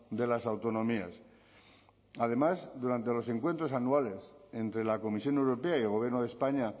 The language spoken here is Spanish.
de las autonomías además durante los encuentros anuales entre la comisión europea y el gobierno de españa